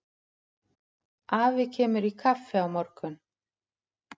Afi kemur í kaffi á morgun.